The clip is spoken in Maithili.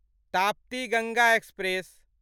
ताप्ती गंगा एक्सप्रेस